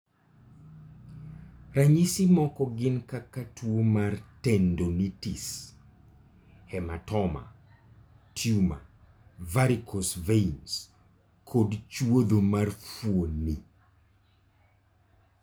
Ranyisi moko gin kaka tuwo mar tendonitis, hematoma, tumor, varicose veins, kod chwodho mar fuoni.